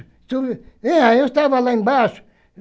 É eu estava lá embaixo.